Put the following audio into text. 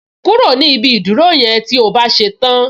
Kúrò ni ibi ìdúró yẹn tí o bá ṣe tán